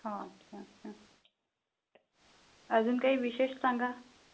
हा अच्छा अच्छा. अजून काही विशेष सांगा